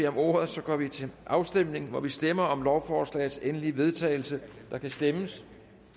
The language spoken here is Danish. om ordet og så går vi til afstemning hvor vi stemmer om lovforslagets endelige vedtagelse og der kan stemmes